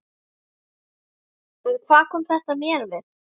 En hvað kom mér þetta við?